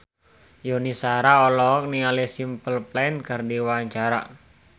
Yuni Shara olohok ningali Simple Plan keur diwawancara